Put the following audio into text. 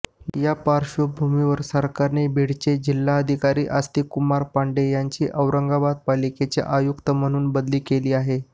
यापार्श्वभूमीवर सरकारने बीडचे जिल्हाधिकारी आस्तिक कुमार पांडे यांची औरंगाबाद पालिकेचे आयुक्त म्हणून बदली केली आहे